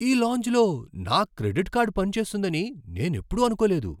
ఈ లాంజ్లో నా క్రెడిట్ కార్డ్ పని చేస్తుందని నేనెప్పుడూ అనుకోలేదు!